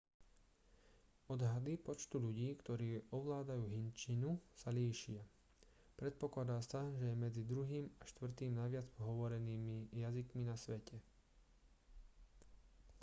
odhady počtu ľudí ktorí ovládajú hindčinu sa líšia predpokladá sa že je medzi druhým a štvrtým najviac hovorenými jazykmi na svete